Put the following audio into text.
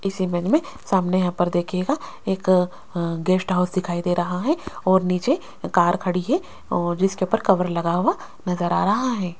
इस इमेज में सामने यहां पर देखिएगा एक अ गेस्ट हाउस दिखाइ दे रहा है और नीचे कार खड़ी है और जिसके ऊपर कवर लगा हुआ नजर आ रहा है।